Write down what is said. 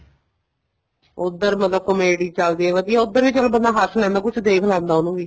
ਉੱਧਰ ਮਤਲਬ comedy ਚੱਲਦੀ ਹੈ ਵਧੀਆ ਉੱਧਰ ਵੀ ਬੰਦਾ ਚਲੋ ਹੱਸ ਲੈਂਦਾ ਕੁੱਛ ਦੇਖ ਲੈਂਦਾ ਉਹਨੂੰ ਵੀ